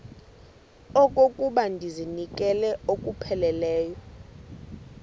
okokuba ndizinikele ngokupheleleyo